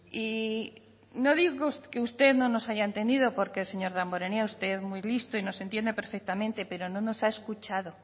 y no digo que usted no nos hayan entendido porque señor damborenea usted es muy visto y nos entiende perfectamente pero no nos ha escuchado